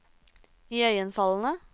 iøynefallende